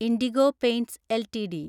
IndiGo Paints LTD